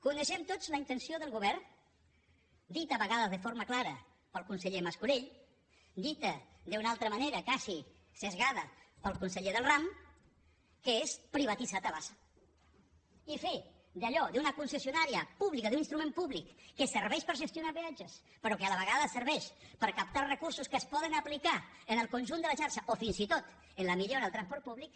coneixem tots la intenció del govern dita a vegades de forma clara pel conseller mascolell dita d’una altra manera quasi esbiaixada pel conseller del ram que és privatitzar tabasa i fer d’allò d’una concessionària pública d’un instrument públic que serveix per gestionar peatges però que a la vegada serveix per captar recursos que es poden aplicar en el conjunt de la xarxa o fins i tot en la millora del transport públic